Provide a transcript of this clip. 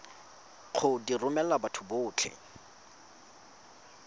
go di romela batho botlhe